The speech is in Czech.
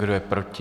Kdo je proti?